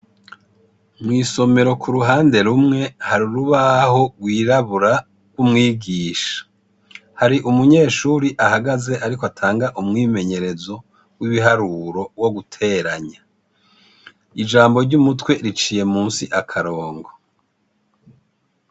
Mw'isomero kuruhande rumwe ,har'urubaho rw'irabura gw'umwigisha. Hari umunyeshure ahagaze arikw' atanga umwimenyerezo w'ibiharuro wo guteranya. Ijambo ry'umutwe riciye musi akarongo.